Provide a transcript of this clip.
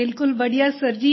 बिल्कुल बढ़िया सर जी